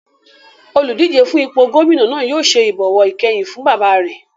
Oludije fún ipò gómìnà náà yóò ṣe ìbọ̀wọ̀ ìkẹyìn fún bàbá rẹ̀